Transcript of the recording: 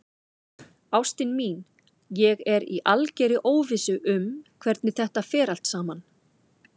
Ástin mín, ég er í algerri óvissu um hvernig þetta fer allt saman.